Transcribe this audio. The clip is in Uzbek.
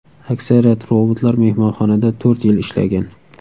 Aksariyat robotlar mehmonxonada to‘rt yil ishlagan.